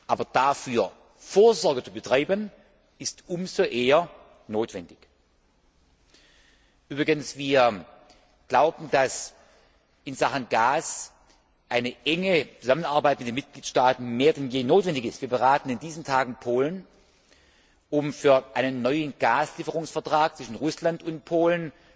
Aber dafür Vorsorge zu betreiben, ist umso eher notwendig. Wir glauben, dass in Sachen Gas eine enge Zusammenarbeit mit den Mitgliedstaaten mehr denn je notwendig ist. Wir beraten in diesen Tagen Polen, um für einen neuen Gaslieferungsvertrag zwischen Russland und Polen